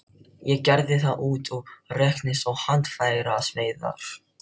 Ég gerði hann út á reknet og handfæraveiðar.